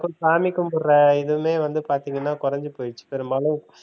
சாமி கும்பிடுற இதுவுமே வந்து பார்த்தீங்கனா குறைஞ்சு போயிடுச்சு பெரும்பாலும்